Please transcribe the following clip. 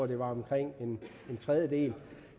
det var omkring en tredjedel